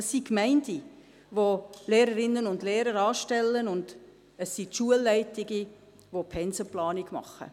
Es sind die Gemeinden, welche die Lehrerinnen und Lehrer anstellen, und es sind die Schulleitungen, welche die Pensenplanung machen.